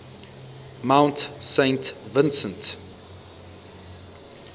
mount saint vincent